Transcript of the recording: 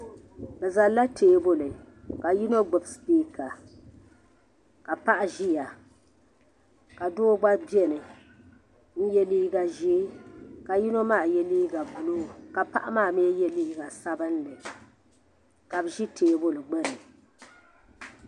Bɛ zalila tɛbuli ka yino gbubi sipiika ka paɣa ʒeya ka doo gba bɛni n yɛ liiga ʒee ka yino maa yɛ liiga buluu ka paɣa maa mii yɛ liiga sabinli ka bɛ ʒe tɛbuli gbuni.